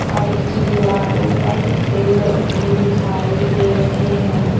Side की दीवारो पर पेड़ उगे दिखाई दे रहे हैं।